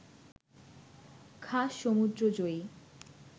খাস সমুদ্র-জয়ী